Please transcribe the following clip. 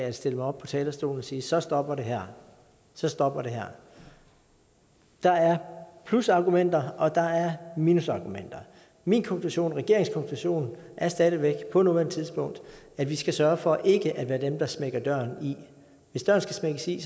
at stille mig op på talerstolen og sige så stopper det her så stopper det her der er plusargumenter og der er minusargumenter min konklusion og regeringens konklusion er stadig væk på nuværende tidspunkt at vi skal sørge for ikke at være dem der smækker døren i hvis døren skal smækkes i